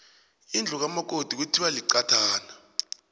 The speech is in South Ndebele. indlu kamakoti kuthiwa liqathana